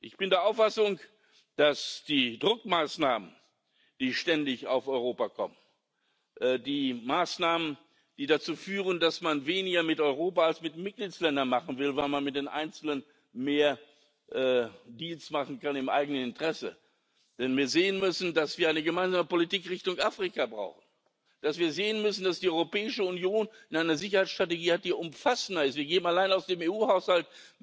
Ich bin der Auffassung, dass die Druckmaßnahmen, die ständig auf Europa kommen, die Maßnahmen, die dazu führen, dass man weniger mit Europa als mit Mitgliedstaaten machen will, weil man mit den Einzelnen mehr Deals im eigenen Interesse machen kann, dass wir sehen müssen, dass wir eine gemeinsame Politik Richtung Afrika brauchen, dass wir sehen müssen, dass die Europäische Union eine Sicherheitsstrategie hat, die umfassender ist. Wir geben allein aus dem EU Haushalt